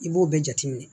I b'o bɛɛ jateminɛ